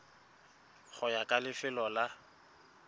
go ya ka lefelo la